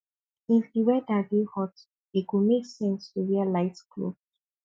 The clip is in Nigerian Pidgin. if di weather dey hot e go make sense to wear light cloth